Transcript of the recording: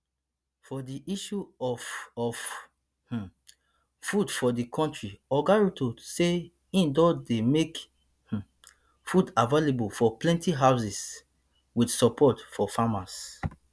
for di issue of of um food for di country oga ruto say e don dey make um food available for plenti houses wit support for farmers